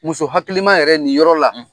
Muso hakiliki ma yɛrɛ nin yɔrɔ la